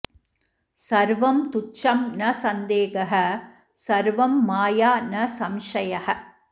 सर्वं तुच्छं न सन्देहः सर्वं माया न संशयः